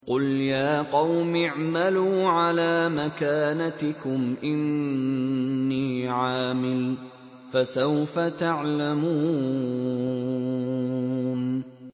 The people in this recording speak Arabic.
قُلْ يَا قَوْمِ اعْمَلُوا عَلَىٰ مَكَانَتِكُمْ إِنِّي عَامِلٌ ۖ فَسَوْفَ تَعْلَمُونَ